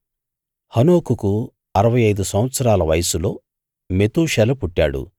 హనోకుకు అరవై ఐదు సంవత్సరాల వయస్సులో మెతూషెల పుట్టాడు